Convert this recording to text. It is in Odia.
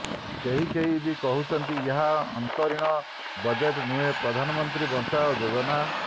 କେହି କେହି ବି କହୁଛନ୍ତି ଏହା ଅନ୍ତରୀଣ ବଜେଟ ନୁହେଁ ପ୍ରଧାନମନ୍ତ୍ରୀ ବଞ୍ଚାଅ ଯୋଜନା